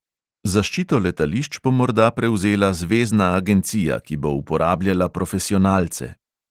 Zaščito letališč bo morda prevzela zvezna agencija, ki bo uporabljala profesionalce.